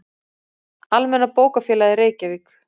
Almenna bókafélagið, Reykjavík.